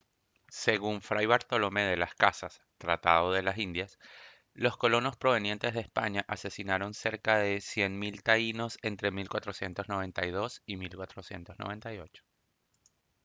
según fray bartolomé de las casas tratado de las indias los colonos provenientes de españa asesinaron cerca de cien mil taínos entre 1492 y 1498